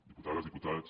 diputades diputats